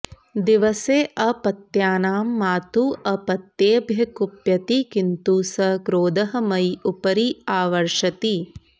दिवसे अपत्यानां मातुः अपत्येभ्यः कुप्यति किन्तु सः क्रोधः मयि उपरि आवर्षति